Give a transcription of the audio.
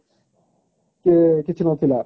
କିଛି ନଥିଲା